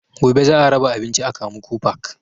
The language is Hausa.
Gobe za a raba abinci a kamuku park